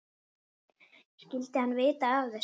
Skyldi hann vita af þessu?